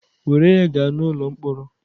Were ya gaa n'ụlọ mkpọrọ!